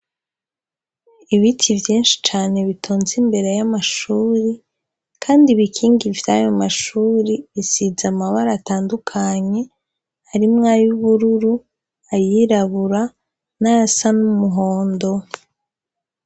Ibiti vyinshi cane bitonze imbere y'amashuri, kandi ibikinga ivyaye mu mashuri bisiza amabara atandukanye arimwo ayo ubururu ayirabura n'asa n'umuhondo.